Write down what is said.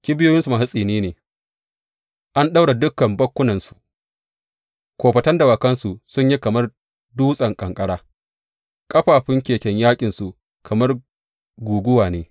Kibiyoyinsu masu tsini ne, an ɗaura dukan bakkunansu; kofatan dawakansu sun yi kamar dutsen ƙanƙara, ƙafafun keken yaƙinsu kamar guguwa ne.